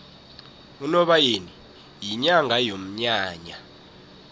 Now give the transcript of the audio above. unobayeni yinyanga yomnyanya